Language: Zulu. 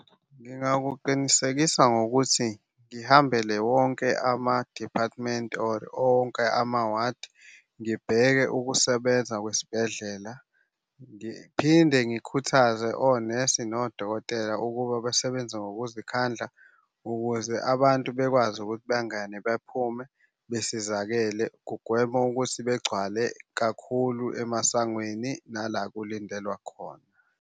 Ngingakuqinisekisa ngokuthi ngihambele wonke ama-department or onke ama-ward. Ngibheke ukusebenza kwesibhedlela, ngiphinde ngikhuthaze onesi nodokotela ukuba basebenze ngokuzikhandla ukuze abantu bekwazi ukuthi bengene bephume besizakele. Kugwema ukuthi begcwale kakhulu emasangweni nala kulindelwa khona.